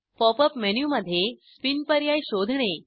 pop up मेनूमध्ये spin पर्याय शोधणे